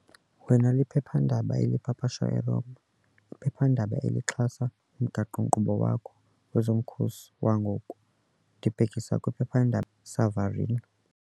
wena liphephandaba elipapashwa eRoma, iphephandaba elixhasa umgaqo-nkqubo wakho wezomkhosi wangoku, ndibhekisa kwiphephandaba Savarino.